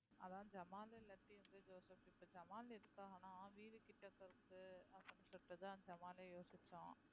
அதான் ஜமாலு இல்லாட்டி வந்து ஜோசப் இப்ப ஜமால் எதுக்காகனா வீடுகிட்ட இருக்கு அப்படின்னு சொல்லிட்டுதான் அந்த ஜமாலை யோசிச்சோம்